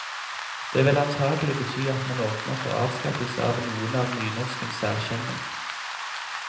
Det vil antagelig bety at man åpner for avskaffelse av noen av nynorskens særkjenner.